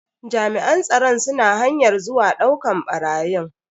Jami'an tsaron suna hanyar zuwa dauka barayin.